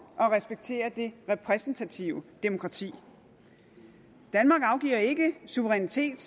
at respektere det repræsentative demokrati danmark afgiver ikke suverænitet